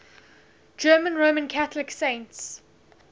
german roman catholic saints